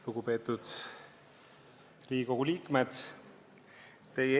Lugupeetud Riigikogu liikmed!